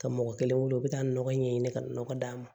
Ka mɔgɔ kelen wele u bɛ taa nɔgɔ ɲɛ ɲini ka nɔgɔ d'a ma